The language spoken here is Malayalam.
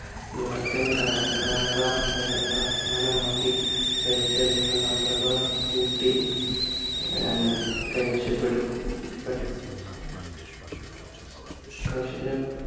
വടക്കൻ കന കാനറ ആ ആസ്ഥാനമാക്കി ഭരിച്ചിരുന്ന കാന്തബാർ ഊട്ടി കൈവശപെട് പെട് കൈശ